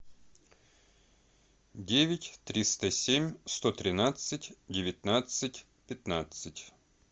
девять триста семь сто тринадцать девятнадцать пятнадцать